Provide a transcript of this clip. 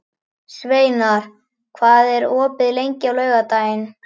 Sveinar, hvað er opið lengi á laugardaginn?